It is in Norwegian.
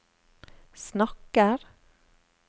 snakker